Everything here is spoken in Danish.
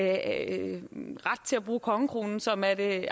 at bruge kongekronen som er det